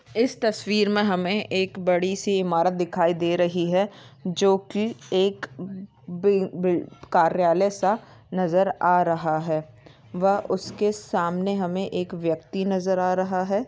इस तस्वीर मैं हमे एक बड़ी सी इमारत दिखाई दे रही है। जो की एक बी बी कार्यालय सा नजर आ रहा है। व उसके सामने हमे एक व्यक्ति नजर आ रहा है।